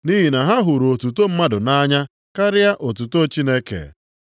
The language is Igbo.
Nʼihi na ha hụrụ otuto mmadụ nʼanya karịa otuto Chineke.